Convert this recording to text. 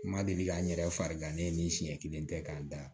N ma deli ka n yɛrɛ farigan ne ye ni siɲɛ kelen tɛ k'a da